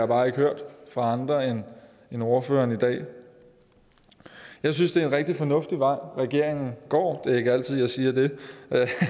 bare ikke hørt fra andre end ordførerne i dag jeg synes det er en rigtig fornuftig vej regeringen går det er ikke altid jeg siger det